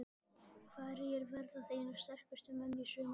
Hverjir verða þínir sterkustu menn í sumar?